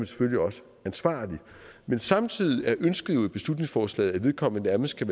selvfølgelig også ansvarlig men samtidig er ønsket i beslutningsforslaget at vedkommende nærmest skal